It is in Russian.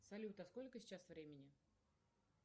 салют а сколько сейчас времени